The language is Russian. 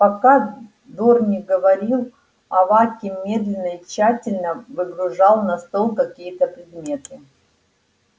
пока дорник говорил аваким медленно и тщательно выгружал на стол какие-то предметы